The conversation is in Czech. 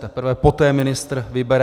Teprve poté ministr vybere.